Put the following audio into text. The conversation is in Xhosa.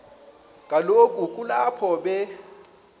kaloku kulapho be